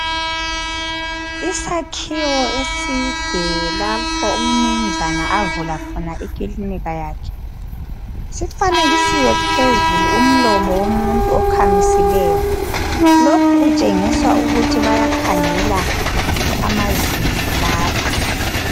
Isakhiwo eside lapho umnunzana avula khona ikilinika yakhe sifanekisiwe phezulu umlomo womuntu okhamisileyo lokhu kutshengisa ukuthi bayakhangela amazinyo lapha.